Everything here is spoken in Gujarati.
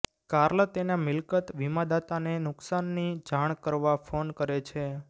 કાર્લ તેના મિલકત વીમાદાતાને નુકસાનની જાણ કરવા ફોન કરે છે